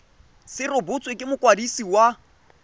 se rebotswe ke mokwadisi wa